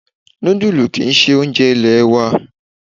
Nudulu ki í ṣe oúnjẹ ilẹ̀ wa.